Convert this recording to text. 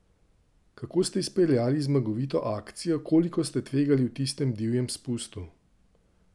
Kako ste izpeljali zmagovito akcijo, koliko ste tvegali v tistem divjem spustu?